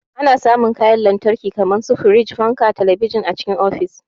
Ana samun kayan lantarki kamar su firiji, fanka, talabijin a cikin ofis.